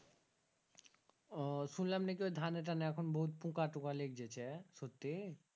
ও শুনলাম নাকি ওই ধানে টানেএখন বহূত পুকা টুকা লেগজেছে সত্যি